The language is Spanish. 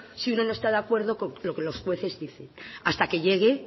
si uno no está de acuerdo con lo que los jueces dicen hasta que llegue